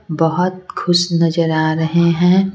बहुत खुश नजर आ रहे हैं।